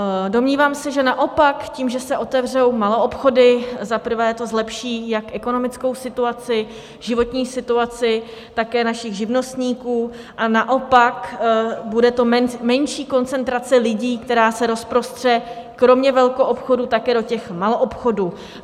Domnívám se, že naopak tím, že se otevřou maloobchody, za prvé to zlepší jak ekonomickou situaci, životní situaci, také našich živnostníků a naopak, bude to menší koncentrace lidí, která se rozprostře kromě velkoobchodů také do těch maloobchodů.